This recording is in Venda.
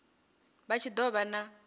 vha tshi do vha na